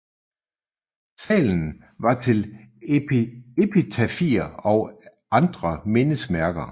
Salen var til epitafier og andre mindesmærker